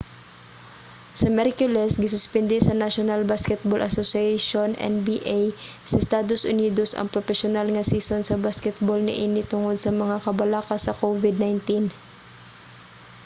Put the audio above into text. sa miyerkules gisuspende sa national basketball association nba sa estados unidos ang propesyonal nga season sa basketbol niini tungod sa mga kabalaka sa covid-19